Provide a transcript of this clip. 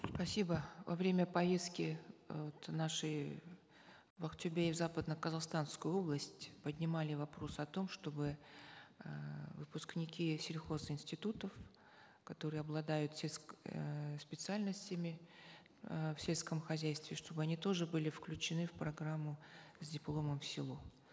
спасибо во время поездки э вот нашей в актобе и в западно казахстанскую область поднимали вопрос о том чтобы э выпускники сельхозинститутов которые обладают э специальностями э в сельском хозяйстве чтобы они тоже были включены в программу с дипломом в село